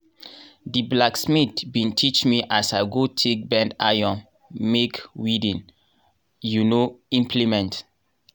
di blacksmith bin teach me as i go take bend iron make weeding um implement.